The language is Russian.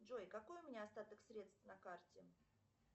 джой какой у меня остаток средств на карте